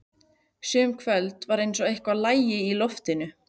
Sum kvöld var eins og eitthvað lægi í loftinu.